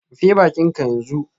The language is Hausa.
Rufe bakinka yanzu